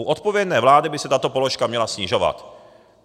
U odpovědné vlády by se tato položka měla snižovat.